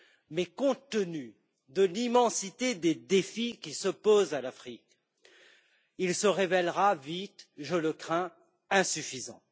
Mais compte tenu de l'immensité des défis qui se posent à l'Afrique, il se révélera vite je le crains insuffisant.